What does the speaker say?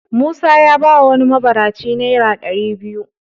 Musa ya bawa wani mabaraci naira ɗari biyu.